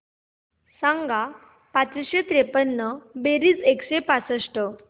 सांग पाचशे त्रेपन्न बेरीज एकशे पासष्ट